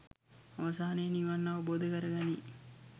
අවසානයේ නිවන් අවබෝධ කර ගනී